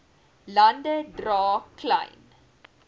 lande dra klein